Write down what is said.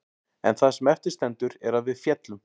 En það sem eftir stendur er að við féllum.